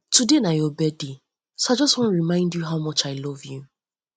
today na your birthday so i just wan remind you how much i love much i love you